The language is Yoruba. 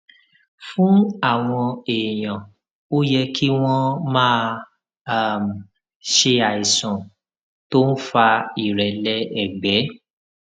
fún àwọn èèyàn ó yẹ kí wón máa um ṣe àìsàn tó ń fa ìrẹlẹ ẹgbẹ